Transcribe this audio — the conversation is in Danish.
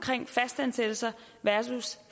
fastansættelser versus